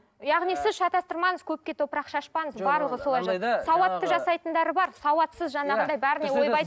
яғни сіз шатастырмаңыз көпке топырақ шашпаңыз сауатты жасайтындар бар сауатсыз жаңағындай бәріне ойбай